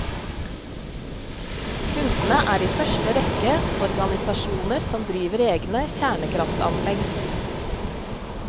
Kundene er i første rekke organisasjoner som driver egne kjernekraftanlegg.